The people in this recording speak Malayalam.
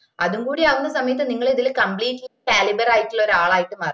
അതും കൂടി ആവുന്ന സമയത്ത് നിങ്ങൾ ഇതില് compleatly caliber ആയിട്ടുള്ള ഒരാളായിട്ട് മാറും